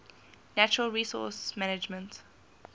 natural resource management